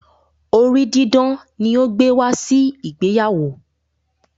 orí didán ni o gbe wá si ìgbéyàwó.